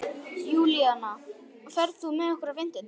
Júlíana, ferð þú með okkur á fimmtudaginn?